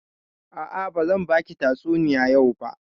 A'a, bazan baki tatsuniya yau ba.